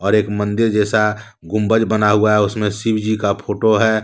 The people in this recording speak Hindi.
एक मंदिर जैसा गुंबज बना हुआ है उसमें शिवजी का फोटो है।